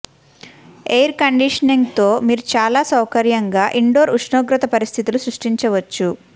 air conditioning తో మీరు చాలా సౌకర్యంగా ఇండోర్ ఉష్ణోగ్రత పరిస్థితులు సృష్టించవచ్చు